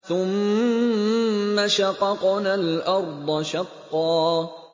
ثُمَّ شَقَقْنَا الْأَرْضَ شَقًّا